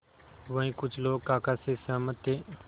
वहीं कुछ लोग काका से सहमत थे